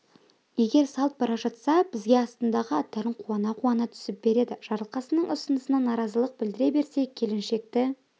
егер салт бара жатса бізге астындағы аттарын қуана-қуана түсіп береді жарылқасынның ұсынысына наразылық білдіре берсе келіншекті